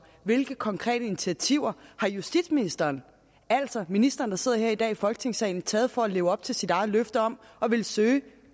hvilke konkrete initiativer har justitsministeren altså ministeren der sidder her i dag i folketingssalen taget for at leve op til sit eget løfte om at ville søge